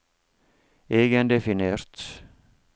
egendefinert